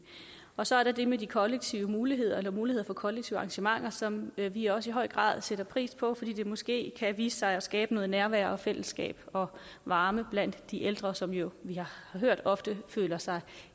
og så er der det med de kollektive muligheder eller muligheder for kollektive arrangementer som vi også i høj grad sætter pris på fordi det måske kan vise sig at skabe noget nærvær og fællesskab og varme blandt de ældre som vi jo har hørt ofte føler sig